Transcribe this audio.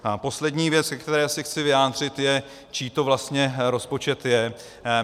Poslední věc, ke které se chci vyjádřit, je, čí to vlastně rozpočet je.